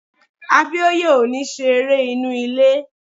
Abíóyè ò ní ṣe eré inú ilé